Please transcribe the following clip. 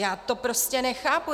Já to prostě nechápu!